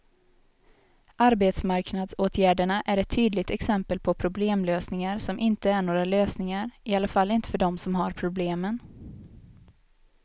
Arbetsmarknadsåtgärderna är ett tydligt exempel på problemlösningar som inte är några lösningar, i alla fall inte för dem som har problemen.